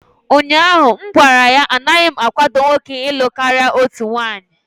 ụnyahụ m gwara ya, anaghị m akwado nwoke ịlụ karịa otu nwanyị!